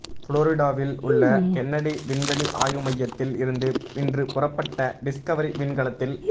ஃபுளோரிடாவில் உள்ள கென்னடி விண்வெளி ஆய்வு மையத்தில் இருந்து இன்று புறப்பட்ட டிஸ்கவரி விண்கலத்தில்